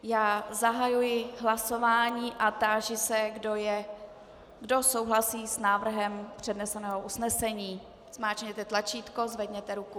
Já zahajuji hlasování a táži se, kdo souhlasí s návrhem předneseného usnesení, zmáčkněte tlačítko, zvedněte ruku.